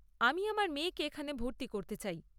আমি আমার মেয়েকে এখানে ভর্তি করতে চাই।